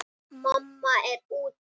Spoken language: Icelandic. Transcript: En Guð talaði til hennar.